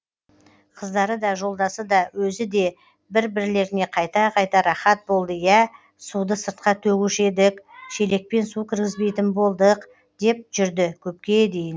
қыздары да жолдасы да өзі де бір бірлеріне қайта қайта рахат болды иә суды сыртқа төгуші едік шелекпен су кіргізбейтін болдық деп жүрді көпке дейін